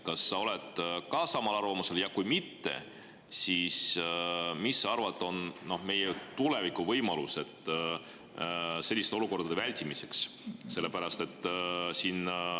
Kas sa oled samal arvamusel ja kui mitte, siis mis sa arvad, millised on meie võimalused tulevikus selliste olukordade vältimiseks?